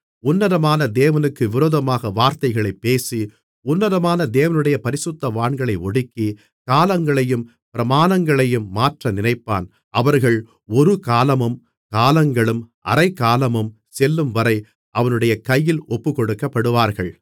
உன்னதமான தேவனுக்கு விரோதமாக வார்த்தைகளைப் பேசி உன்னதமான தேவனுடைய பரிசுத்தவான்களை ஒடுக்கி காலங்களையும் பிரமாணங்களையும் மாற்ற நினைப்பான் அவர்கள் ஒரு காலமும் காலங்களும் அரைக்காலமும் செல்லும்வரை அவனுடைய கையில் ஒப்புக்கொடுக்கப்படுவார்கள்